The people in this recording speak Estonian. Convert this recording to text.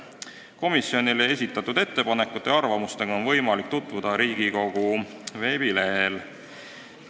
Komisjonile esitatud ettepanekute ja arvamustega on võimalik tutvuda Riigikogu veebilehel.